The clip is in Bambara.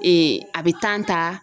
a bɛ ta